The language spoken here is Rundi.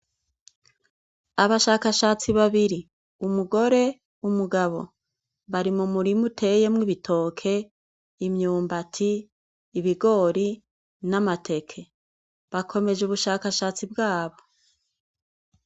Abashakashatsi babiri, umugore, umugabo, bari mu m'imirima iteyemwo ibitoke, imyumbati, ibigori, n'amateke. Bakomeje umushakashatsi bwabo.